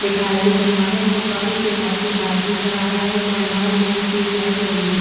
दिखाई दे रहा है फुब्बारे के पास एक आदमी खड़ा है। मैंदान में स्ट्रीट लाईट लगी है।